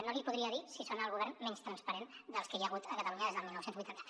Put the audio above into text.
no li podria dir si són el govern menys transparent dels que hi ha hagut a catalunya des del dinou vuitanta